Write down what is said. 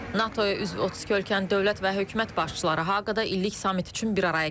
NATO-ya üzv 32 ölkənin dövlət və hökumət başçıları Haqda illik samit üçün bir araya gəlib.